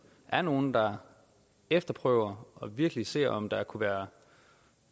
er nogle der efterprøver og virkelig ser om der kunne være